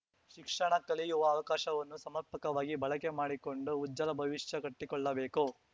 ಶಿಕ್ಷಣ ಕಲಿಯುವ ಅವಕಾಶವನ್ನು ಸಮರ್ಪಕವಾಗಿ ಬಳಕೆ ಮಾಡಿಕೊಂಡು ಉಜ್ವಲ ಭವಿಷ್ಯ ಕಟ್ಟಿಕೊಳ್ಳಬೇಕು